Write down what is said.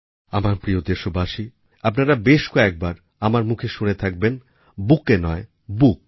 আমার প্রিয় দেশবাসী আপনারা বেশ কয়েকবার আমার মুখে শুনে থাকবেন বুকেট নয় বুক